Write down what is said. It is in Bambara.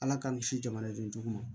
Ala k'an kisi jamanadenw ma